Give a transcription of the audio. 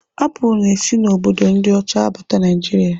Apụl na-esi n'obodo ndị ọcha abata Naịjiria.